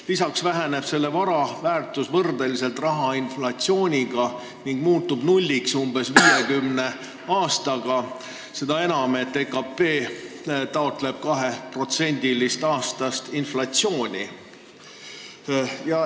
Lisaks väheneb selle summa väärtus inflatsiooni tõttu, umbes 50 aastaga muutub see nulliks, seda enam, et Euroopa Keskpank taotleb aastast inflatsiooni 2%.